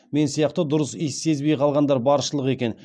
мен сияқты дұрыс иіс сезбей қалғандар баршылық екен